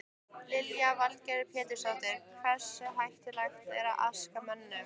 Lillý Valgerður Pétursdóttir: Hversu hættuleg er askan mönnum?